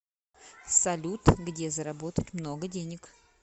салют где заработать много денег